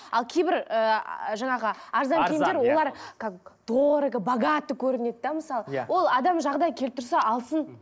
ал кейбір ыыы жаңағы арзан киімдер олар как дорого богато көрінеді де мысалы иә ол адам жағдайы келіп тұрса алсын